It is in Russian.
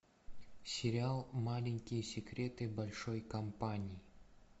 сериал маленькие секреты большой компании